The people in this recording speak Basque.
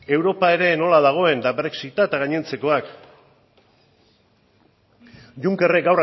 europa ere nola dagoen brexita eta gainontzekoak junckerrek